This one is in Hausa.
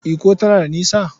Ikko tana da nisa?